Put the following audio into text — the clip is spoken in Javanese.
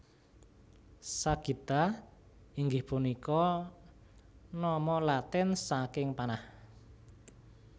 Sagitta inggih punika nama Latin saking panah